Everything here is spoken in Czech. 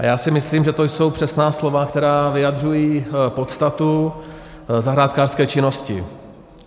A já si myslím, že to jsou přesná slova, která vyjadřují podstatu zahrádkářské činnosti.